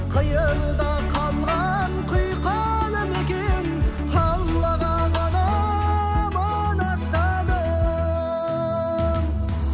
қиырда қалған құйқалы мекен аллаға ғана аманаттадым